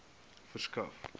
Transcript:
verskaf